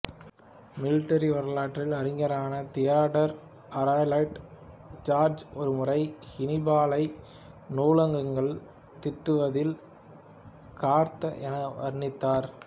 military வரலாற்று அறிஞரான Theodore Ayrault Dodge ஒருமுறை ஹன்னிபாலை நுணுக்கங்கள் தீட்டுவதில் கர்த்தா என வர்ணித்தார்